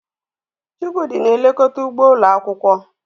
Chukwudi na-elekọta ugbo ụlọ akwụkwọ.